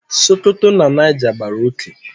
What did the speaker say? Sokoto na Niger gbàrà oké